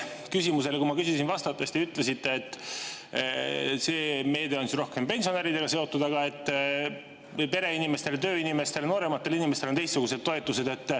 Minu eelmisele küsimusele vastates te ütlesite, et see meede on rohkem pensionäridega seotud, aga pereinimestel, tööinimestel, noorematel inimestel on teistsugused toetused.